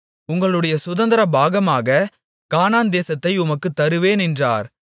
உங்களுடைய சுதந்தரபாகமான கானான் தேசத்தை உனக்குத் தருவேன் என்றார்